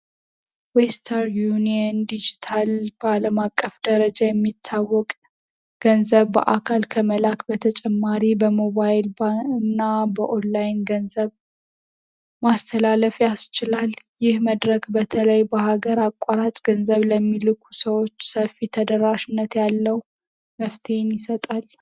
ዌstr uniየn ዲጂታል ባለም አቀፍ ደረጃ የሚታወቅ ገንዘብ በአካል ከመላአክ በተጨማሪ በmoባይል ና በኦንላይን ገንዘብ ማስተላለፍ ያስችላል ይህ መድረግ በተለይ በሀገር አቋራት ገንዘብ ለሚልኩ ሰዎች ሰፊ ተደራሽነት ያለው መፍቴን ይሰጣ።